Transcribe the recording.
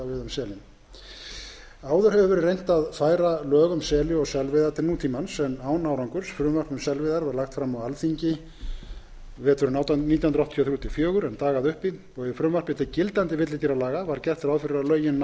verið reynt að færa lög um seli og selveiðar til nútímans en án árangurs frumvarp um selveiðar var lagt fram á alþingi nítján hundruð áttatíu og þrjú til nítján hundruð áttatíu og fjögur en dagaði uppi og í frumvarpi til gildandi villidýralaga var gert ráð fyrir